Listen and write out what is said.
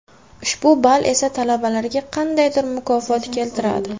Ushbu ball esa talabalarga qandaydir mukofot keltiradi.